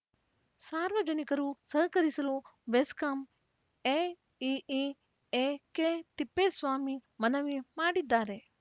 ಸಾರ್ವಜನಿಕರು ಸಹಕರಿಸಲು ಬೆಸ್ಕಾಂ ಎಇಇ ಎಕೆತಿಪ್ಪೇಸ್ವಾಮಿ ಮನವಿ ಮಾಡಿದ್ದಾರೆ